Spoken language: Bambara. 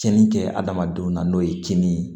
Cɛnni kɛ adamadenw na n'o ye kinni ye